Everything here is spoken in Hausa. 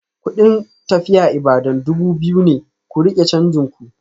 Kudin tafiya Ibadan dubu biyu ne, ku rike canjin ku.